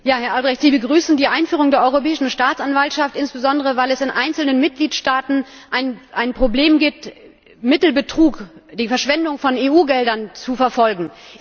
Herr Albrecht! Sie begrüßen die Einführung der Europäischen Staatsanwaltschaft, insbesondere weil es in einzelnen Mitgliedstaaten ein Problem gibt, Mittelbetrug, die Verschwendung von EU Geldern, zu verfolgen.